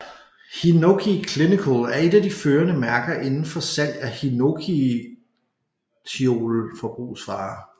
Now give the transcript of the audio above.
Hinoki Clinical er et at de førende mærker indenfor salg af hinokitiol forbrugsvarer